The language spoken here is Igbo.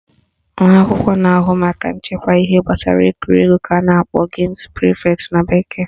Nwa akwụkwọ na-ahụ maka nchekwa ihe gbasara egwuregwu ka a na-akpọ games prefect na bekee